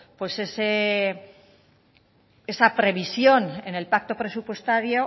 esa previsión en el pacto presupuestario